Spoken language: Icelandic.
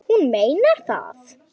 Hún meinar það.